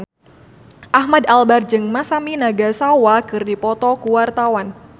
Ahmad Albar jeung Masami Nagasawa keur dipoto ku wartawan